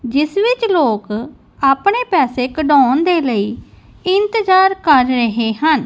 ਜਿਸ ਵਿੱਚ ਲੋਕ ਆਪਣੇ ਪੈਸੇ ਕਢਾਉਣ ਦੇ ਲਈ ਇੰਤਜ਼ਾਰ ਕਰ ਰਹੇ ਹਨ।